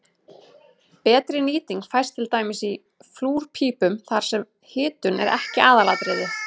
betri nýting fæst til dæmis í flúrpípum þar sem hitun er ekki aðalatriðið